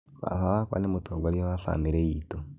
Baba wakwa nĩ mũtongoria wa bamĩrĩ itũ